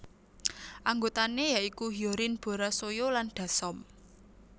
Anggotané ya iku Hyorin Bora Soyou lan Dasom